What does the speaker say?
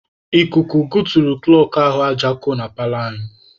Ikuku goturu kụlọkụ ahụ aja ko na paalọ anyị.